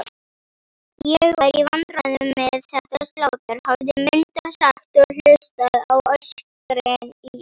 Ég var í vandræðum með þetta slátur, hafði Munda sagt og hlustað á öskrin í